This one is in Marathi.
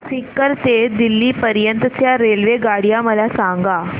सीकर ते दिल्ली पर्यंत च्या रेल्वेगाड्या मला सांगा